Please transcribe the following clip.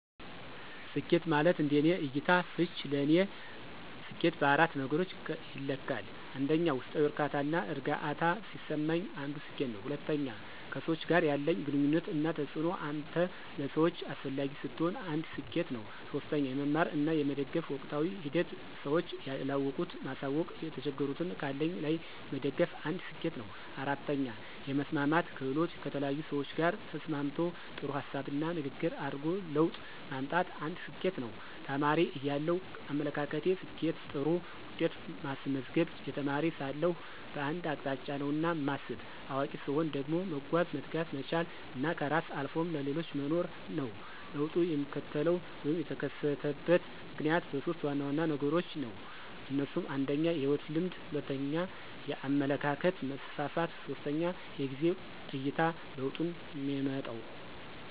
ስኬት ማለት እንደኔ እይታ /ፍች ለኔ ሰኬት በአራት ነገሮች ይለካል 1, ውስጣዊ ዕርካታና እርግአታ ሲሰማኝ አንዱ ስኬት ነው። 2, ከሰዎች ጋር ያለኝ ግንኙነት እና ተጽእኖ አንተ ለሰዎች አሰፈላጊ ስትሆን አንድ ሰኬት ነው። 3, የመማር እና የመደገፍ ወቅታዊ ሂደት ስዎች ያለወቁት ማሳውቅ የተቸገሩትን ካለኝ ላይ መደገፍ አንድ ስኬት ነው 4, የመስማማት ክህሎት: ከተለያዪ ሰዎች ጋር ተስማምቶ ጥሩ ሀሳብና ንግግር አድርጎ ለውጥ ማምጣት አንድ ስኬት ነው። ተማሪ እያለው አመለካከቴ፦ ስኬት ጥሩ ውጤት ማስመዝገብ, የተማሪ ሳለሁ በአንድ አቅጣጫ ነውና ማስብ። አዋቂ ሰትሆን ደግሞ መጓዝ፣ መትጋት፣ መቻል እና ከራስ አልፎም ለሌሎች መኖር ነው። ለውጡ የሚከሰተው /የተከሰተበት ምክንያት በሦስት ዋና ዋና ነገሮች ነው። እነሱም 1, የህይወት ልምድ 2, የአመለካከት መስፍፍት 3, የጊዜ አይታ ለውጡንየሚመጣው።